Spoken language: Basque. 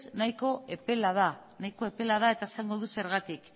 nahiko epela da eta esango dut zergatik